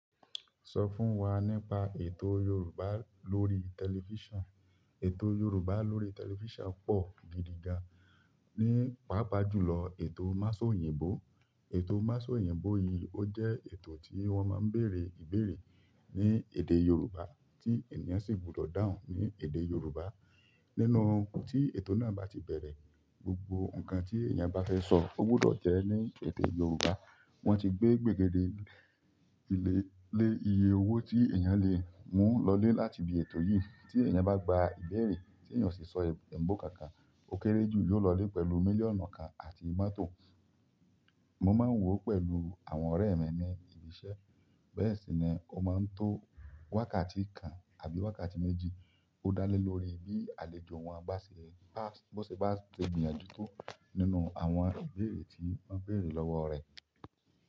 Sọ fún wa nípa ètò Yorùbá lórí tẹlifísàn. Ètò Yorùbá lórí tẹlifísàn pọ̀ gidi gan ní pàápàá jùlọ ètò Másò oyìnbó. Ètò Másọ oyìnbó yìí ó jẹ́ ètò tí wọ́n máa ń bèèrè ìbéèrè ní èdè Yorùbá tí èèyàn sì gbúdọ̀ dáhùn ní èdè Yorùbá. Nínú tí ètò náà bá ti bẹ̀rẹ̀, gbogbo nǹkan tí èèyàn bá fẹ́ sọ ó gbúdọ̀ jẹ́ ní èdè Yorùbá. Wọ́n ti gbé gbègede le iye owó tí èèyàn lè mú lọlé láti ibi ètò yìí tí èèyàn bá gba ìbéèrè tí èèyàn o sì sọ èébó kankan. Okere ju yi o lọ ile pẹ̀lú milliọnu kan àti mọ́tò. Mo máa ń wò ó pẹ̀lú àwọn ọ̀rẹ́ mi ní ibi iṣẹ́, bẹ́ẹ̀ sì ni ó máa ń tó wákàtí kan àbí wákàtí méjì. Ó dá lé lórí bí àlejò wọn bá ṣe bá bọ́ ṣe bá ṣe gbìyànjú tó nínú àwọn ìbéèrè tí wọ́n béèrè lọ́wọ́ rẹ̀.